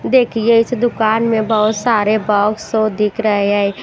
देखिए इस दुकान में बहुत सारे बॉक्स सो दिख रहे हैं।